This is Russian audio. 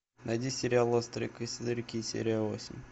найди сериал острые козырьки серия восемь